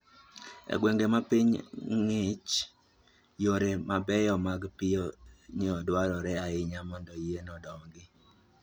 E gwenge ma piny ong'ich, yore mabeyo mag piyo dwarore ahinya mondo yien odongi.